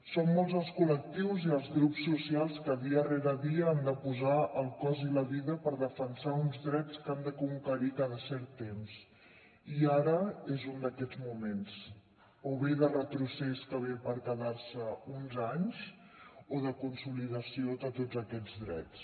són molts els col·lectius i els grups socials que dia rere dia han de posar el cos i la vida per defensar uns drets que han de conquerir cada cert temps i ara és un d’aquests moments o bé de retrocés que ve per quedar se uns anys o de consolidació de tots aquests drets